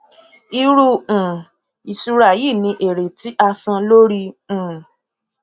irú um ìṣura yìí ní èrè tí a san lórí um